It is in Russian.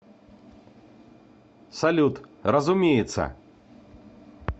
салют разумеется